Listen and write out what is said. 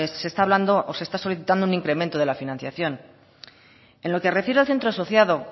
se está hablando o se está solicitando un incremento de la financiación en lo que parece al centro asociado